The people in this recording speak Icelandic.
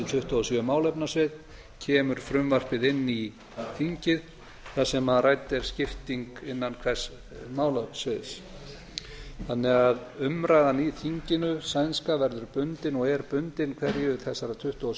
tuttugu og sjö málefnasvið kemur frumvarpið inn í þingið þar sem rædd er skipting innan hvers málasviðs umræðan í þinginu sænska verður því bundin og er bundin hverju þessara tuttugu og